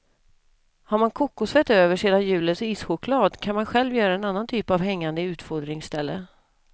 Har man kokosfett över sedan julens ischoklad, kan man själv göra en annan typ av hängande utfodringställe.